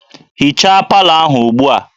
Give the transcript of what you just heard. Hichaa palọ ahụ ugbu a!